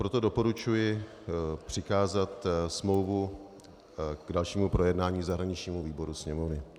Proto doporučuji přikázat smlouvu k dalšímu projednání zahraničnímu výboru Sněmovny.